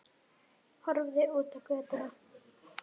Horfði út á götuna.